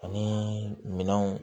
Ani minɛnw